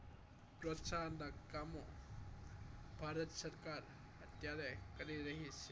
પ્રોત્સાહન ના કામો ભારત સરકાર અત્યારે કરી રહી છે